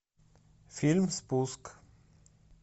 фильм спуск